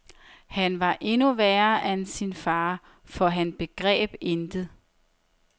Han var endnu værre end min far, for han begreb intet.